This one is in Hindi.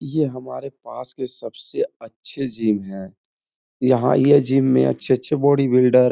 ये हमारे पास के सबसे अच्छे जिम है। यहाँ यह जिम में अच्छे - अच्छे बॉडी बिल्डर --